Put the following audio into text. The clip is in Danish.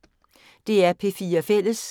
DR P4 Fælles